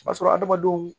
O b'a sɔrɔ hadamadenw